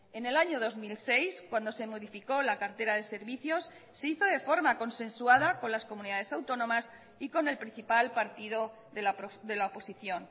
en el año dos mil seis cuando se modificó la cartera de servicios se hizo de forma consensuada con las comunidades autónomas y con el principal partido de la oposición